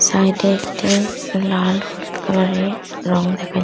side -এ একটি লাল হলুদ কালারের রং দেখা--